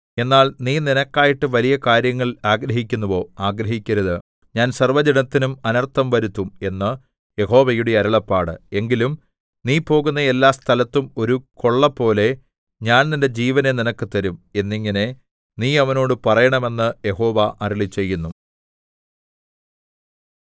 എന്നാൽ നീ നിനക്കായിട്ട് വലിയ കാര്യങ്ങൾ ആഗ്രഹിക്കുന്നുവോ ആഗ്രഹിക്കരുത് ഞാൻ സർവ്വജഡത്തിനും അനർത്ഥം വരുത്തും എന്ന് യഹോവയുടെ അരുളപ്പാട് എങ്കിലും നീ പോകുന്ന എല്ലാ സ്ഥലത്തും ഒരു കൊള്ളപോലെ ഞാൻ നിന്റെ ജീവനെ നിനക്ക് തരും എന്നിങ്ങനെ നീ അവനോട് പറയണം എന്ന് യഹോവ അരുളിച്ചെയ്യുന്നു